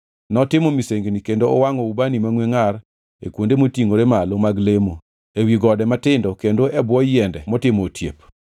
Notimo misengini kendo owangʼo ubani mangʼwe ngʼar e kuonde motingʼore malo mag lemo, ewi gode matindo kendo e bwo yiende motimo otiep.